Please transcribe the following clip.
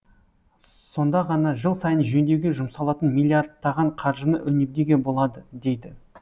сонда ғана жыл сайын жөндеуге жұмсалатын миллиардтаған қаржыны үнемдеуге болады дейді